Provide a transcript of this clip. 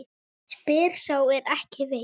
Spyr sá er ekki veit?